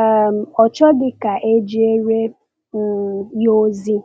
um ọ chọghị ka e jeere um ya ozi.